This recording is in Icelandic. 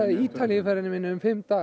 Ítalíu ferðinni minni um fimm daga